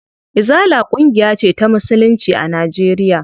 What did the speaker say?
Izala ƙungiya ce ta musulunci a Najeriya.